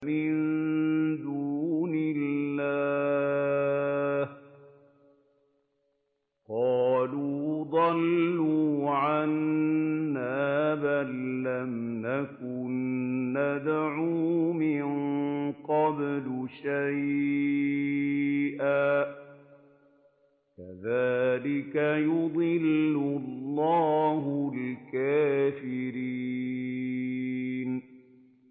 مِن دُونِ اللَّهِ ۖ قَالُوا ضَلُّوا عَنَّا بَل لَّمْ نَكُن نَّدْعُو مِن قَبْلُ شَيْئًا ۚ كَذَٰلِكَ يُضِلُّ اللَّهُ الْكَافِرِينَ